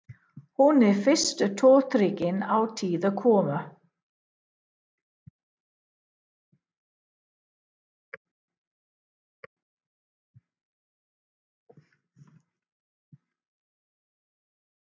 Hún er í fyrstu tortryggin á tíðar komur